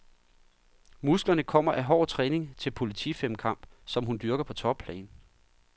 Musklerne kommer af hård træning til politifemkamp, som hun dyrker på topplan.